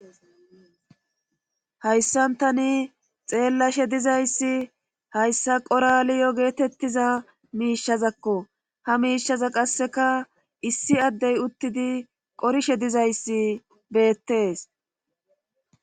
Hayssantani xeellashe dizayssi hayssa qoraliyo geetettiza miishazakko ha miishaza qasseka issi addey uttidi qorishe dizayssi beettees